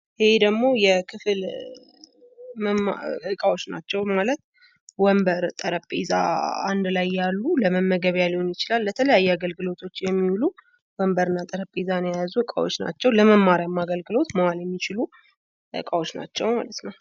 ይህ ደግሞ የክፍል እቃዎች ናቸው። ወንበርና ጠረንጴዛ አንድላይ ለመመገቢያ ሊሆን ይችላል ለሌሎች ለተለያዩ አገልግሎቶች የሚውሉ ለመማሪያም ሊሆን ይችላል የሚያገለግሉ እቃዎች ናቸው።